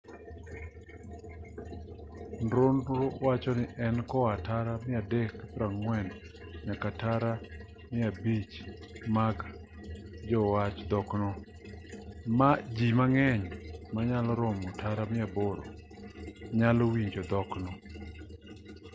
nonro wachoni en koa tara 340 nyaka tara 500 mag jowach dhokno ji mang'eny manyalo romo tara 800 nyalo winjo dhokno